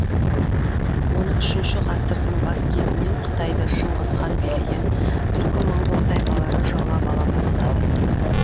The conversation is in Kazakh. он үшінші ғасырдың бас кезінен қытайды шыңғыс хан билеген түркі моңғол тайпалары жаулап ала бастады